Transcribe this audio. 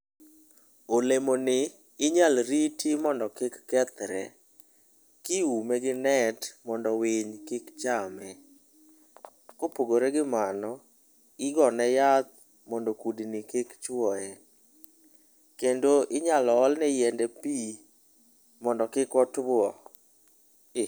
Olemoni inyalo riti mondo kik kethre, kiume gi net mondo winy kik chame. Kopogore gi mano, igone yath mondo kudni kik chwoye. Kendo inyalo olne yiende pi mondo kik otuo eh.